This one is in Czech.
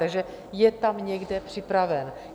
Takže je tam někde připraven.